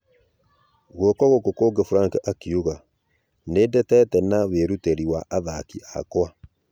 Gũoko gũku kũgĩ frank akiuga : "Nĩndeteete na wĩrutĩri wa athaki akwa.